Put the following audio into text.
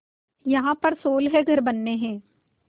यहाँ पर सोलह घर बनने हैं